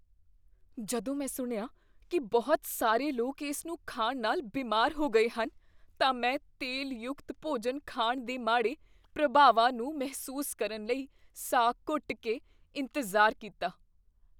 ਜਦੋਂ ਮੈਂ ਸੁਣਿਆ ਕੀ ਬਹੁਤ ਸਾਰੇ ਲੋਕ ਇਸ ਨੂੰ ਖਾਣ ਨਾਲ ਬਿਮਾਰ ਹੋ ਗਏ ਹਨ, ਤਾਂ ਮੈਂ ਤੇਲ ਯੁਕਤ ਭੋਜਨ ਖਾਣ ਦੇ ਮਾੜੇ ਪ੍ਰਭਾਵਾਂ ਨੂੰ ਮਹਿਸੂਸ ਕਰਨ ਲਈ ਸਾਹ ਘੁੱਟ ਕੇ ਇੰਤਜ਼ਾਰ ਕੀਤਾ।